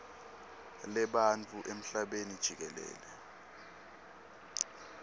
lebantfu emhlabeni jikelele